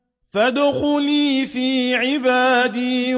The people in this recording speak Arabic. فَادْخُلِي فِي عِبَادِي